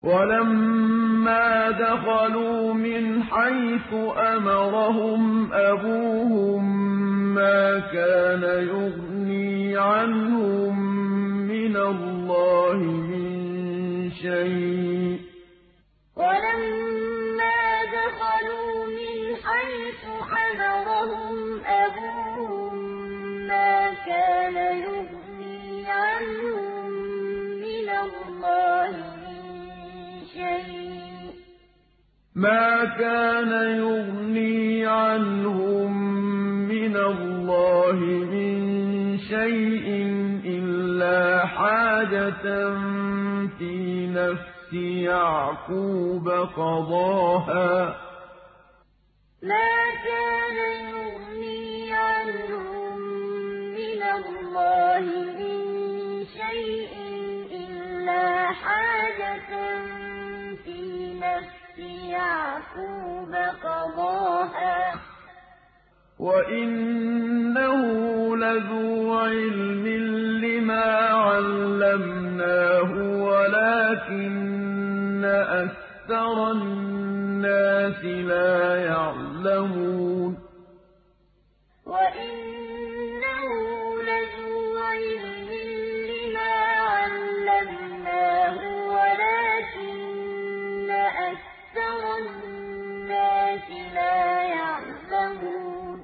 وَلَمَّا دَخَلُوا مِنْ حَيْثُ أَمَرَهُمْ أَبُوهُم مَّا كَانَ يُغْنِي عَنْهُم مِّنَ اللَّهِ مِن شَيْءٍ إِلَّا حَاجَةً فِي نَفْسِ يَعْقُوبَ قَضَاهَا ۚ وَإِنَّهُ لَذُو عِلْمٍ لِّمَا عَلَّمْنَاهُ وَلَٰكِنَّ أَكْثَرَ النَّاسِ لَا يَعْلَمُونَ وَلَمَّا دَخَلُوا مِنْ حَيْثُ أَمَرَهُمْ أَبُوهُم مَّا كَانَ يُغْنِي عَنْهُم مِّنَ اللَّهِ مِن شَيْءٍ إِلَّا حَاجَةً فِي نَفْسِ يَعْقُوبَ قَضَاهَا ۚ وَإِنَّهُ لَذُو عِلْمٍ لِّمَا عَلَّمْنَاهُ وَلَٰكِنَّ أَكْثَرَ النَّاسِ لَا يَعْلَمُونَ